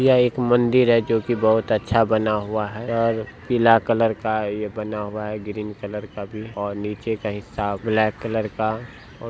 यह एक मंदिर है जो की बहुत अच्छा बना हुआ है और पीला कलर का ये बना हुआ है ग्रीन कलर का भी और नीचे का हिस्सा ब्लैक कलर का ओ --